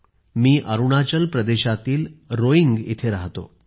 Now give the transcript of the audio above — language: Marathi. मी अरुणाचल प्रदेशातील रोइंग येथे राहतो